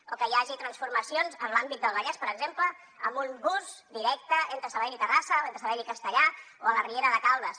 o que hi hagi transformacions en l’àmbit del vallès per exemple amb un bus directe entre sabadell i terrassa o entre sabadell i castellar o la riera de caldes